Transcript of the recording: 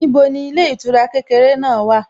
Níbo ni ilé ìtura kékeré náà wà?